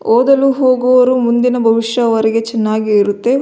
ಓದಲು ಹೋಗುವವರು ಮುಂದಿನ ಭವಿಷ್ಯ ವರೆಗೆ ಚೆನ್ನಾಗಿ ಇರುತ್ತೆ.